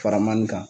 Faramani kan